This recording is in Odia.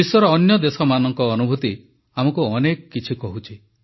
ବିଶ୍ୱର ଅନ୍ୟଦେଶମାନଙ୍କ ଅନୁଭୁତି ଆମକୁ ଅନେକ କିଛି କହୁଛି